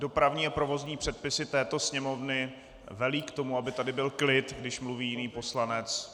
Dopravní a provozní předpisy této Sněmovny velí k tomu, aby tady byl klid, když mluví jiný poslanec.